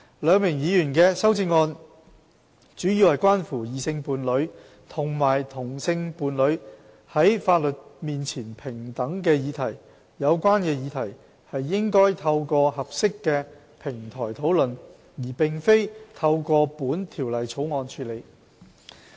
兩名議員的修正案，主要關乎異性伴侶和同性伴侶在法律面前平等的議題。有關議題應透過合適的平台討論，而非透過本《條例草案》處理。